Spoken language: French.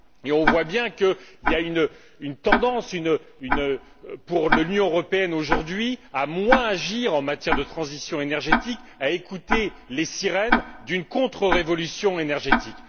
On voit bien qu'il existe une tendance pour l'Union européenne aujourd'hui à moins agir en matière de transition énergétique, à écouter les sirènes d'une contre révolution énergétique.